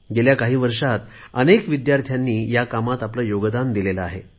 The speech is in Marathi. गेल्या काही वर्षात अनेक विद्यार्थ्यांनी ह्या कामात आपले योगदान दिलेले आहे